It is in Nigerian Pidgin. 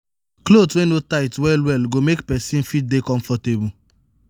cloth wey no tight well well go go make person fit dey comfortable